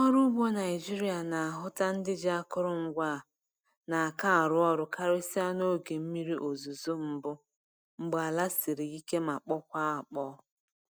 Ndị ọrụ ugbo Naịjiria na-ahụta ndị ji akụrụngwa a n’aka arụ ọrụ karịsịa n'oge mmiri ozuzo mbụ mgbe ala siri ike ma kpọkwaa akpọọ.